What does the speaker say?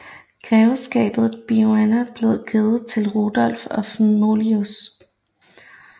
Grevskabet Boiano blev givet til Rudolf af Moulins